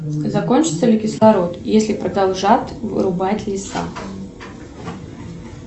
закончится ли кислород если продолжат вырубать леса